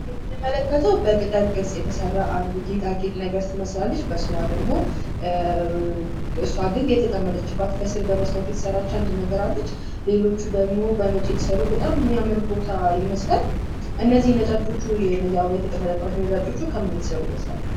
የምንመለከተዉ በቅጠል ቅርፅ የተሰራ አንድ ጌጣጌጥ ነገር ትመስላለች። በስሯ ደግሞ እሷ ግን የተቀመጠችባት ከስር መስታወት የተሰራች አንድ ነገር አለች። ሌሎቹ ደግሞ በነጭ የተሰሩ በጣም የሚያምር ቦታ ይመስላል። እነዚህ ነጫጮች አበባ የተቀመጠባቸዉ ነጫጮቹ ከምን የተሰሩ ይመስላችኋል?